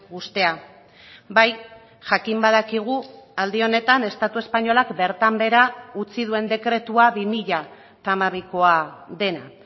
uztea bai jakin badakigu aldi honetan estatu espainolak bertan behera utzi duen dekretua bi mila hamabikoa dena